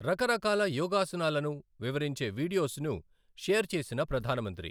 రక రకాల యోగాసనాలను వివరించే వీడియోస్ ను షేర్ చేసిన ప్రధాన మంత్రి